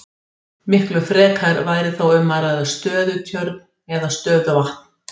Miklu frekar væri þá um að ræða stöðutjörn eða stöðuvatn.